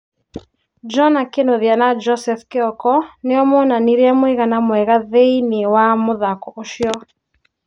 Jonah Kĩnuthia na Josehp Kĩoko nĩo monanirie mũigana mwega thĩĩnĩĩ wa muthako ucio.